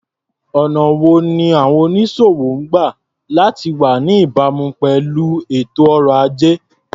Ọ̀nà wo ni àwọn onísòwò máa ń gba láti wá ní ìbámu pẹ̀lú ètò ọrọ̀-ajé?